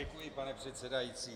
Děkuji, pane předsedající.